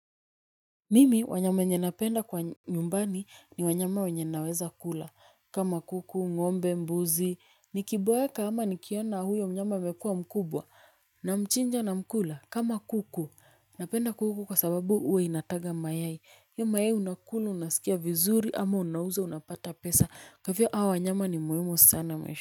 Mimi wanyama wenye napenda kwa nyumbani ni wanyama wenye naweza kula kama kuku ngombe mbuzi nikiboeka ama nikiona huyo mnyama amekuwa mkubwa na mchinja na mkula kama kuku napenda kuku kwa sababu huwa inataga mayai hiyo mayai unakula unasikia vizuri ama unauza unapata pesa kwa hivyo hawa wanyama ni muhimu sana maishani.